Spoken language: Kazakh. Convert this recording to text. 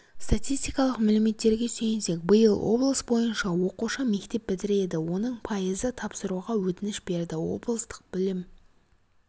статистикалық мәліметтерге сүйенсек биыл облыс бойынша оқушы мектеп бітіреді оның пайызы тапсыруға өтініш берді облыстық білім